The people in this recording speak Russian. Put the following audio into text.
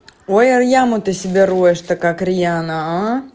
ой а яму ты себе роешь то как риана а